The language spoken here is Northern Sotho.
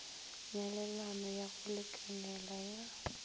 nyalelano ya go lekanela ya